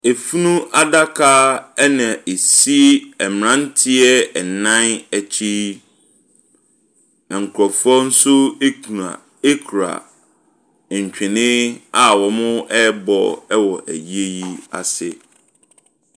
Afunu adaka na ɛsi mmeranteɛ nnan akyi yi. Na nkurɔfoɔ nso gyina kura ntwene a wɔrebɔ wɔ ayie yi ase.